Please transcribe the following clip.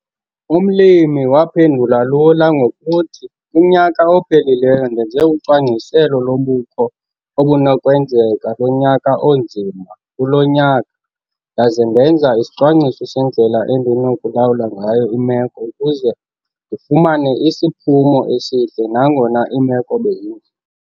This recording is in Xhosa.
Umlimi waphendula lula ngokuthi 'kunyaka ophelileyo ndenze ucwangciselo lobukho obunokwenzeka lonyaka onzima kulo nyaka ndaze ndenza isicwangciso sendlela endinokulawula ngayo imeko ukuze ndifumane isiphumo esihle nangona iimeko bezinzima'.